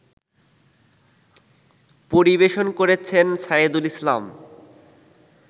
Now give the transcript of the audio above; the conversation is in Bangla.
পরিবেশন করেছেন সায়েদুল ইসলাম